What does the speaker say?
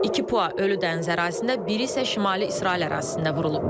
İki PUA ölü dəniz ərazisində, biri isə Şimali İsrail ərazisində vurulub.